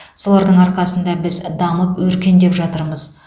солардың арқасында біз дамып өркендеп жатырмыз